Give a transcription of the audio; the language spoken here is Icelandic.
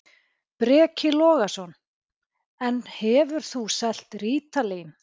Breki Logason: En hefur þú selt rítalín?